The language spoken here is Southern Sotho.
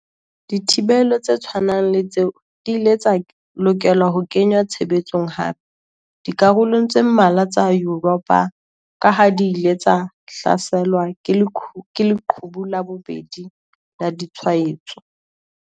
Dithibelo tse tshwanang le tseo di ile tsa lokela ho kenngwa tshebetsong hape dikarolong tse mmalwa tsa Yuropa kaha di ile tsa hlaselwa ke 'leqhubu la bobedi' la ditshwaetso.